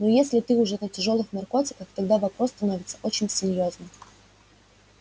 но если ты уже на тяжёлых наркотиках тогда вопрос становится очень серьёзным